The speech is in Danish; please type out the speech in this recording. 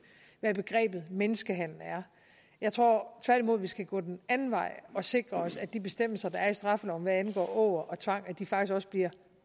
hvad begrebet menneskehandel er jeg tror tværtimod vi skal gå den anden vej og sikre os at de bestemmelser der er i straffeloven hvad angår åger og tvang faktisk også bliver